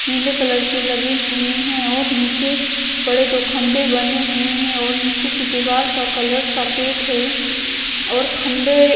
पीले कलर की लगी हुई है और नीचे बड़े दो खंबे बने हुए हैं और नीचे की दीवाल का कलर सफेद है और खंबे--